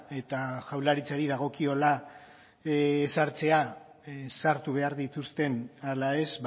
eta jaurlaritzari dagokiola sartzea sartu behar dituzten ala ez